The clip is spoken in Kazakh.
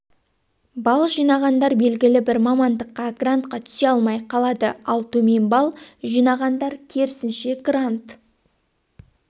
балл жинағандар белгілі бір мамандыққа грантқа түсе алмай қалады ал төмен балл жинағандар керсінше грант